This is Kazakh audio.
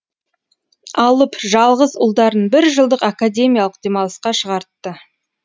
алып жалғыз ұлдарын бір жылдық академиялық демалысқа шығартты